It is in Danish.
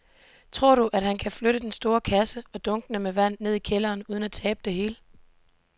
Tror du, at han kan flytte den store kasse og dunkene med vand ned i kælderen uden at tabe det hele?